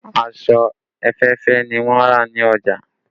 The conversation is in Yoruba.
Aṣọ òféèfé ni wọn rà ní ọjà